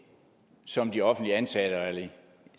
som de offentligt ansatte og